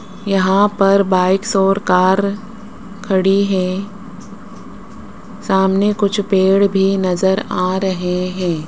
यहां पर बाइक्स और कार खड़ी है सामने कुछ पेड़ भी नजर आ रहे हैं।